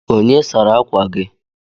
Onye sara akwa gị?